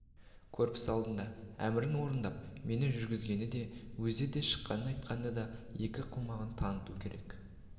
көрпіс алдында әмірін орындап мені жүргізгенін өзі де шыққанын айтқанды екі қылмағанын таныту керек